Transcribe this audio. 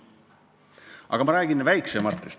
Aga ma räägin ka väiksematest.